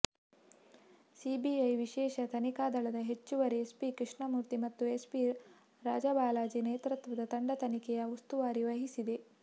CBI ವಿಶೇಷ ತನಿಖಾ ದಳದ ಹೆಚ್ಚುವರಿ ಎಸ್ಪಿ ಕೃಷ್ಣಮೂರ್ತಿ ಮತ್ತು ಎಸ್ಪಿ ರಾಜಾಬಾಲಾಜಿ ನೇತೃತ್ವದ ತಂಡ ತನಿಖೆಯ ಉಸ್ತುವಾರಿ ವಹಿಸಿದೆ